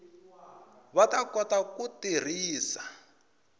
va ta kota ku tirhisa